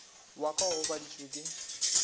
wa ka o gobaditšwe ke